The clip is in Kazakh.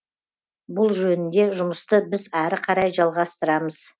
бұл жөнінде жұмысты біз әрі қарай жалғастырамыз